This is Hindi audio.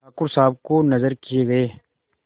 ठाकुर साहब को नजर किये गये